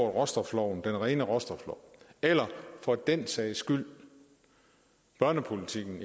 råstofloven den rene råstoflov eller for den sags skyld børnepolitikken